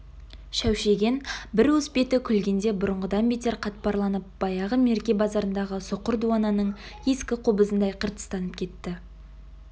шәушиген бір уыс беті күлгенде бұрынғыдан бетер қатпарланып баяғы мерке базарындағы соқыр дуананың ескі қобызындай қыртыстанып кетті